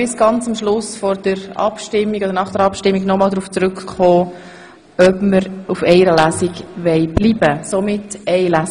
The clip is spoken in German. Wir können ganz am Schluss nach der Abstimmung noch darauf zurückkommen, ob wir auf einer Lesung bestehen wollen.